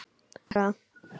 Á ekki að gera það.